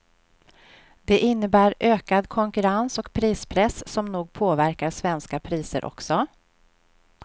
Det innebär ökad konkurrens och prispress som nog påverkar svenska priser också.